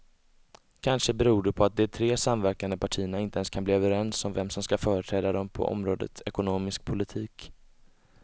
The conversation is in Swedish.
Kanske beror det på att de tre samverkande partierna inte ens kan bli överens om vem som ska företräda dem på området ekonomisk politik.